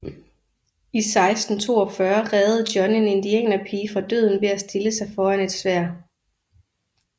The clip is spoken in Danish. I 1642 reddede John en indianerpige fra døden ved at stille sig foran et sværd